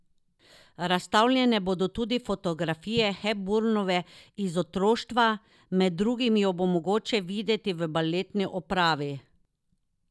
Razstavljene bodo tudi fotografije Hepburnove iz otroštva, med drugim jo bo mogoče videti v baletni opravi.